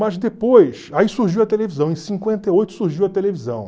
Mas depois, aí surgiu a televisão, em cinquenta e oito surgiu a televisão.